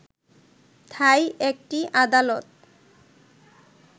থাই একটি আদালত